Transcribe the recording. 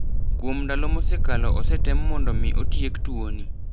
"Kuom ndalo mosekalo osetem mondo mi otiek tuo ni.